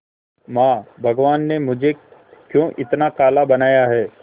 मां भगवान ने मुझे क्यों इतना काला बनाया है